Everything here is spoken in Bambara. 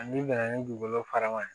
N'i nana ni dugukolo fara ma